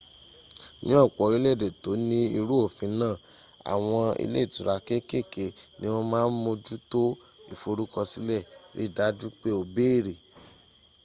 ni ọpọ orilẹede to ni iru ofin naa awọn ile itura kekeke ni wọn ma moju to iforukọsilẹ ri daju pe o bere